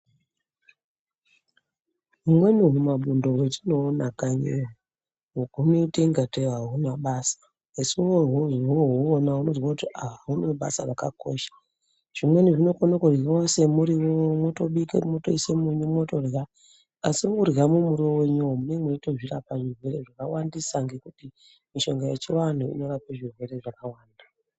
Humwene humabundo hwatinoona kanyiyo hunoita ingatei ahunabasa asi wozohuona unozwa woti aaa hunebasa rakakosha. Zvimweni zvinokona kuryiwa semuriwo mwotobika mwotoisa munyu mwotorya . Asi mworya mumuriwo wenyuwo munenge mweitozvirapa zvirwere zvakawandisa ngekuti mishonga yechiantu inorapa zvirwere zvakawanda